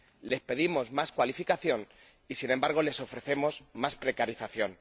Les pedimos más cualificación y sin embargo, les ofrecemos más precarización.